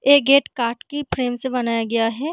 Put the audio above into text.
ऐ gate काट के फेन से बनाया गया है।